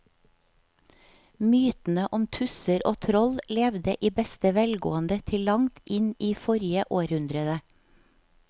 Mytene om tusser og troll levde i beste velgående til langt inn i forrige århundre.